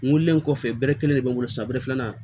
N wololen kɔfɛ bɛre kelen de bɛ n bolo san bere filanan